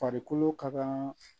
Farikolo ka kan